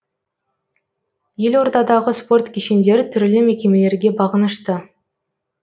елордадағы спорт кешендері түрлі мекемелерге бағынышты